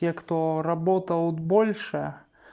те кто работал больше